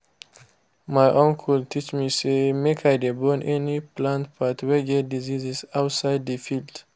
my uncle teach me say make i dey burn any plant part wey get disease outside the field.